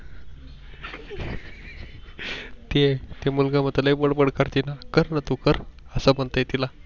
ते मुलगा म्हणतंय लई बडबड करते ना कर ना तू कर अस म्हणतो तिला